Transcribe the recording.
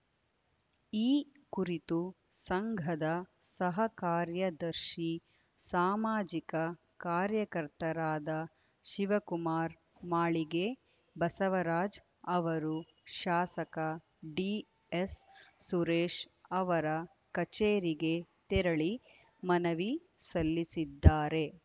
ಈ ಕುರಿತು ಸಂಘದ ಸಹ ಕಾರ್ಯದರ್ಶಿ ಸಾಮಾಜಿಕ ಕಾರ್ಯಕರ್ತರಾದ ಶಿವಕುಮಾರ್‌ ಮಾಳಿಗೆ ಬಸವರಾಜ್‌ ಅವರು ಶಾಸಕ ಡಿಎಸ್‌ ಸುರೇಶ್‌ ಅವರ ಕಚೇರಿಗೆ ತೆರಳಿ ಮನವಿ ಸಲ್ಲಿಸಿದ್ದಾರೆ